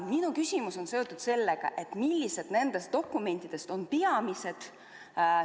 Minu küsimus on: millised nendest dokumentidest on peamised?